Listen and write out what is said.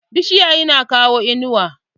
Bishiya tana kawo inuwa.